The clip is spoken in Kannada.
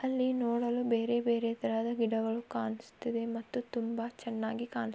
ಅಲ್ಲಿ ನೋಡಲು ಬೇರೆ ಬೇರೆ ತರದ ಗಿಡಗಳು ಕಾಣಸ್ತಿದೆ ಮತ್ತು ತುಂಬಾ ಚೆನ್ನಾಗಿ ಕಾಣ್ಸ್ --